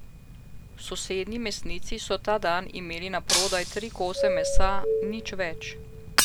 V sosednji mesnici so ta dan imeli naprodaj tri kose mesa, nič več.